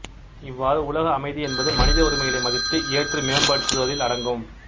இவ்வாறு உலக அமைதி என்பது மனித உரிமைகளை மதித்து ஏற்று மேம்படுத்துவதில் அடங்கும்